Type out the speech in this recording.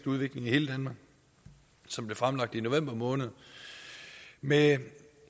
udvikling i hele danmark som blev fremlagt i november måned med